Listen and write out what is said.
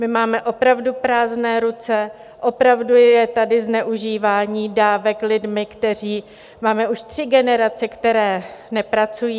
My máme opravdu prázdné ruce, opravdu je tady zneužívání dávek lidmi, kteří - máme už tři generace, které nepracují.